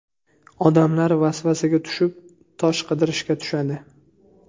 Odamlar vasvasaga tushib, ‘tosh’ qidirishga tushadi.